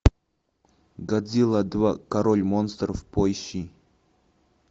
годзилла два король монстров поищи